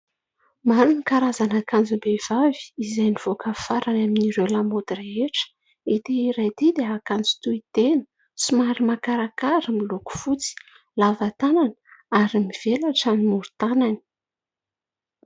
Maro ny karazana akanjom-behivavy izay nivoaka farany amin'ireo lamaody rehetra. Ity iray ity dia akanjo tohitena, somary makarakara miloko fotsy, lava tanana ary mivelatra ny moron-tanany.